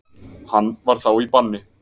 Hann var þá í banni.